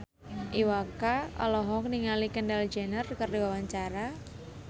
Iwa K olohok ningali Kendall Jenner keur diwawancara